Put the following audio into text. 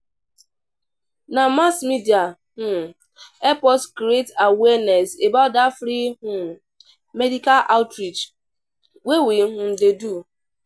Na mass media um help us create awareness about dat free um medical outreach wey we um do.